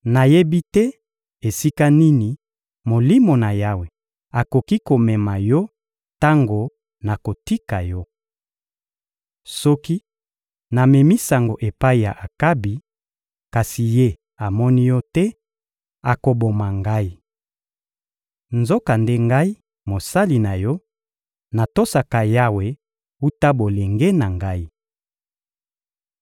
Nayebi te esika nini Molimo na Yawe akoki komema yo tango nakotika yo. Soki namemi sango epai ya Akabi, kasi ye amoni yo te, akoboma ngai. Nzokande ngai, mosali na yo, natosaka Yawe wuta bolenge na ngai.